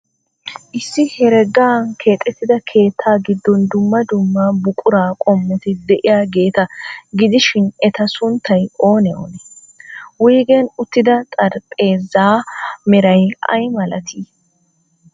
Issi heregan keexeetida keettaa giddon dumma dumma buquraa qommoti de'iyaageeta gidishin, eta sunttay oonee oonee? Wuygen uttida xaraphpheezzaa meray ay malatii?